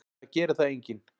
Það gerir það enginn.